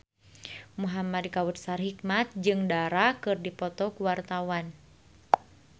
Muhamad Kautsar Hikmat jeung Dara keur dipoto ku wartawan